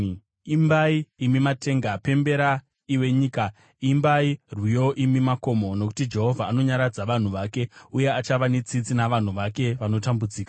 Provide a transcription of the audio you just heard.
Imbai, imi matenga, pembera iwe nyika; imbai rwiyo imi makomo! Nokuti Jehovha anonyaradza vanhu vake, uye achava netsitsi navanhu vake vanotambudzika.